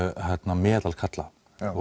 meðal karla